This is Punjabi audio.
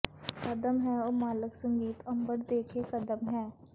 ਕਦਮ ਹੈ ਉਹ ਮਾਲਕ ਸੰਗੀਤ ਅੰਬਰ ਦੇ ਕੇ ਕਦਮ ਹੈ